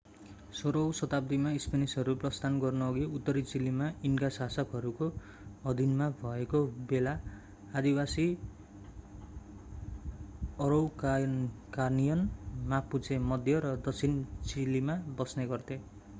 16 औं शताब्दीमा स्पेनिशहरू प्रस्थान गर्नुअघि उत्तरी चिलीमा इन्का शासकहरूको अधीनमा भएको बेला आदिवासी अरौकानियन मापुचे मध्य र दक्षिण चिलीमा बस्ने गर्थे।